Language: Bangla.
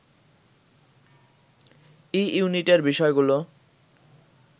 ই ইউনিটের বিষয়গুলো